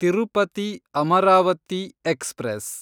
Tirupati Amaravati express